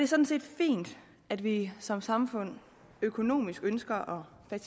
sådan set fint at vi som samfund økonomisk ønsker at